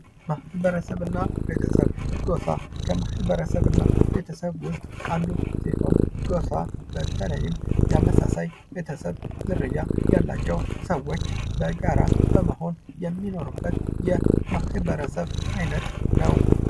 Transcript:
ማህበረሰብ እና ቤተሰብ ፦ ጎፋ ፦ ከማህበረሰብ እና ቤተሰብ ውስጥ አንዱ ሲሆን ጎፋ በተለይም ተመሳሳይ ቤተሰብ ዝርያ ያላቸው ሰዎች በጋራ በመሆን የሚኖሩበት የማህበረሰብ አይነት ነው ።